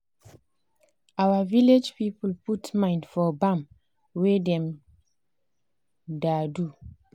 our village people put mind for bam wey dem da do